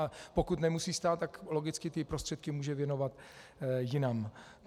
A pokud nemusí stát, tak logicky ty prostředky může věnovat jinam.